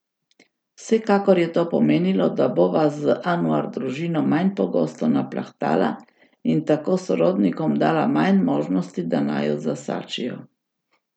Vsekakor je to pomenilo, da bova z Anuar družino manj pogosto naplahtala in tako sorodnikom dala manj možnosti, da naju zasačijo.